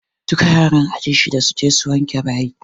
Duka yaran aji shiɗa su je su wanke bayi!